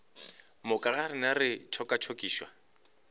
moka ga rena re tšokatšokišwa